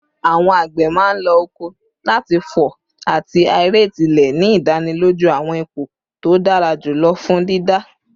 Awọn agbe man lo oko lati fọ ati aerate ile, ni idaniloju awọn ipo to dara julọ fun dida